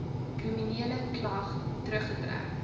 kriminele klag teruggetrek